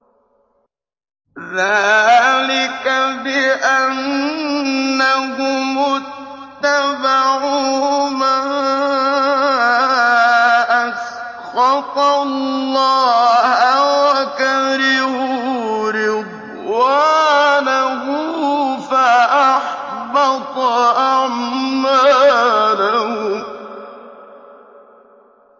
ذَٰلِكَ بِأَنَّهُمُ اتَّبَعُوا مَا أَسْخَطَ اللَّهَ وَكَرِهُوا رِضْوَانَهُ فَأَحْبَطَ أَعْمَالَهُمْ